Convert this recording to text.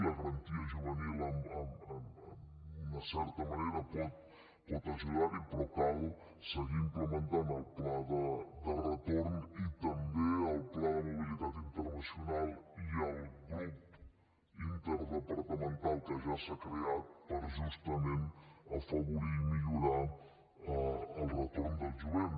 la garantia juvenil en certa manera pot ajudar hi però cal seguir implementant el pla de retorn i també el pla de mobilitat internacional i el grup interdepartamental que ja s’ha creat per justament afavorir i millorar el retorn del jovent